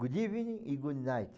Good evening e good night.